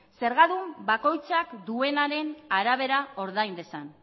zergadun bakoitzak duenaren arabera ordain dezan